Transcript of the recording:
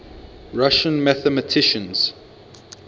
russian mathematicians